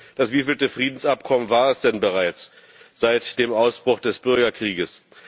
Nur, das wievielte Friedensabkommen war es denn bereits seit dem Ausbruch des Bürgerkrieges?